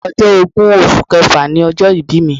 Ọjọ́ ogún oṣù kẹfà ni ọjọ́ ìbí mi.